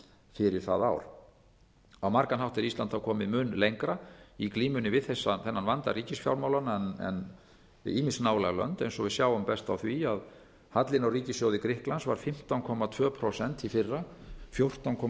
fyrir það ár á margan hátt er ísland þá komið mun lengra í glímunni við þennan vanda ríkisfjármálanna en ýmis nálæg lönd eins og við sjáum best á því að hallinn á ríkissjóði grikklands var fimmtán komma tvö prósent í fyrra fjórtán komma